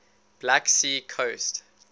black sea coast